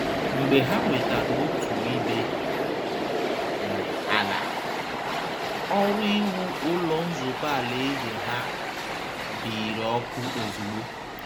Mgbe ha nwetara otu ibé um ala, ọrụ iwu Ụlọ Nzukọ Alaeze ha um biiri ọkụ ozugbo